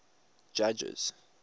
judges